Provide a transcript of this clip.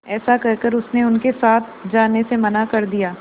ऐसा कहकर उसने उनके साथ जाने से मना कर दिया